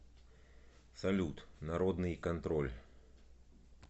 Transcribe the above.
салют народный контроль